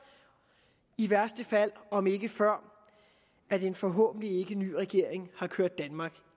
i værste fald om ikke før at en forhåbentlig ikkeny regering har kørt danmark